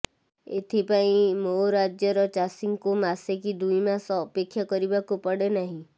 ଏଥିପାଇଁ ମୋ ରାଜ୍ୟର ଚାଷୀଙ୍କୁ ମାସେ କି ଦୁଇମାସ ଅପେକ୍ଷା କରିବାକୁ ପଡେ ନାହିଁ